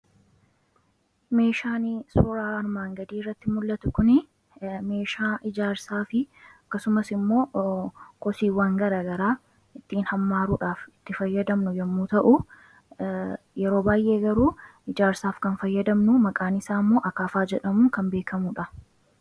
meeshaan suuraa armaan gadii irratti mul'atu kun meeshaa ijaarsaa fi akkasumas immoo kosiiwwan garaa garaa ittiin hammaaruudhaaf itti fayyadamnu yemmuu ta'u yeroo baayyee garuu ijaarsaaf kan fayyadamnu maqaan isaa immoo akaafaa jedhamuu kan beekamuudha.